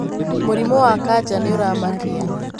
Mūrimū wa kanja nīūramakia.